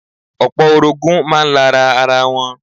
Opo orogun máa ń lára ara wọn.